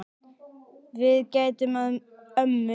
Við gætum að ömmu.